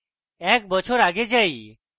এক বছর go যাই